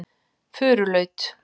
Furulaut